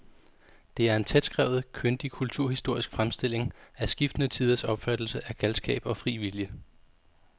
Det er en tætskrevet, kyndig kulturhistorisk fremstilling af skiftende tiders opfattelse af galskab og fri vilje.